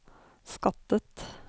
skattet